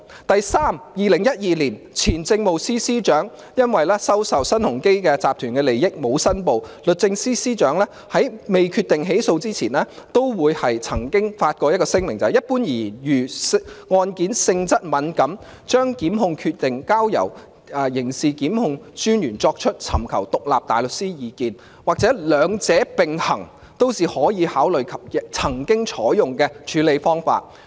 第三，在2012年，前政務司司長因沒有申報收受新鴻基集團的利益，時任律政司司長未決定起訴前，也曾發聲明表明，一般而言，如案件性質敏感，將檢控決定交由刑事檢控專員尋求獨立大律師意見，或兩者並行，都是可以考慮及曾經採用的處理方法。